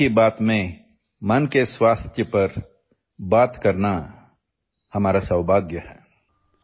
'' اس 'من کی بات' میں ذہنی صحت کے بارے میں بات کرنا ہماری خوش نصیبی ہے